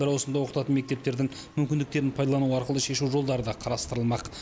бір ауысымда оқытатын мектептердің мүмкіндіктерін пайдалану арқылы шешу жолдары да қарастырылмақ